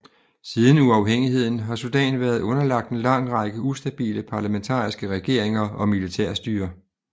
Siden uafhængigheden har Sudan været underlagt en lang række ustabile parlamentariske regeringer og militærstyrer